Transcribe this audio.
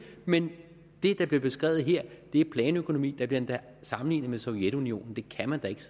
men det der bliver beskrevet her er planøkonomi der bliver endda sammenlignet med sovjetunionen det kan man da ikke